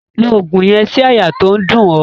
Lo ògùn yen sí àyà to n dún o